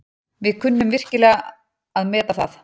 Við kunnum virkilega að meta það.